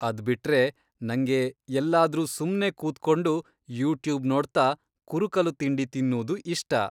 ಅದ್ಬಿಟ್ರೆ, ನಂಗೆ ಎಲ್ಲಾದ್ರೂ ಸುಮ್ನೆ ಕೂತ್ಕೊಂಡು ಯೂಟ್ಯೂಬ್ ನೋಡ್ತಾ, ಕುರುಕಲು ತಿಂಡಿ ತಿನ್ನೂದು ಇಷ್ಟ.